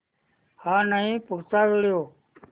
हा नाही पुढचा व्हिडिओ